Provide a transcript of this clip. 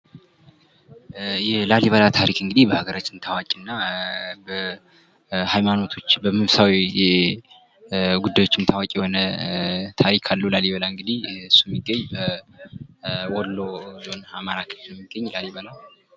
የላሊበላ ታሪክ በሀገራችን ታዋቂ እና በሀይማኖቶች በመንፈሳዊ ጉዳዮችም ታዋቂ የሆነ ታሪክ አለዉ። ላሊበላ እንግዲህ እሱ የሚገኝ በወሎ አማራ ክልል የሚገኝ ላሊበላ።